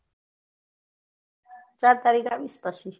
સાત તારીખે આવી પછી